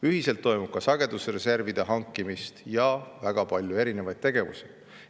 Ühiselt toimub ka sagedusreservide hankimist ja väga palju erinevaid tegevusi.